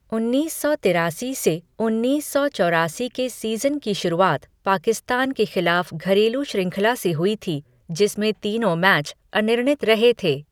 उन्नीस सौ तिरासी से उन्नीस सौ चौरासी के सीज़न की शुरुआत पाकिस्तान के खिलाफ घरेलू श्रृंखला से हुई थी, जिसमें तीनों मैच अनिर्णीत रहे थे।